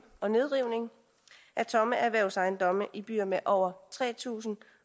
og nedrivning af tomme erhvervsejendomme i byer med over tre tusind